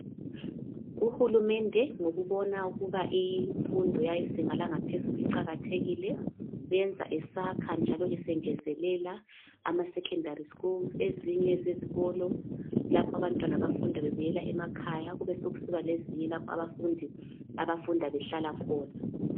Uhulumende ngokubona imfundo yezinga langaphezulu iqakathekile uyenza esakha njalo esengezelela ama secondary schools ezinye zezikolo lapho abantwana abafunda bebuyela emakhaya besokusiba lezinye lapho abafundi abafunda behlala khona.